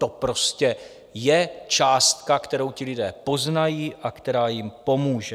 To prostě je částka, kterou ti lidé poznají a která jim pomůže.